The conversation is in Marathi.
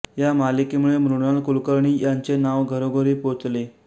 या मालिकेमुळे मृणाल कुलकर्णी यांचे नाव घरोघरी पोचले